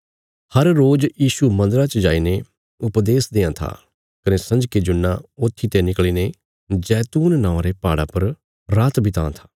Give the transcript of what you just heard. हर रोज यीशु मन्दरा च जाईने उपदेश देआं था कने संजके जुन्ना ऊत्थीते निकल़ीने जैतून नौआं रे पहाड़ा पर रात विताँ था